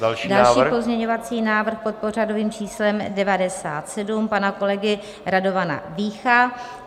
Další pozměňovací návrh, pod pořadovým číslem 97 pana kolegy Radovana Vícha.